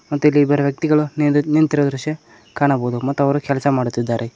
ಮತ್ತು ಇಲ್ಲಿ ಇಬ್ಬರು ವ್ಯಕ್ತಿಗಳು ನಿಂದ ನಿಂತಿರುವ ದೃಶ್ಯ ಕಾಣಬಹುದು ಮತ್ ಅವರು ಕೆಲ್ಸ ಮಾಡುತ್ತಿದ್ದಾರೆ.